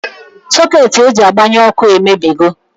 Socketị eji agbanye ọkụ emebigo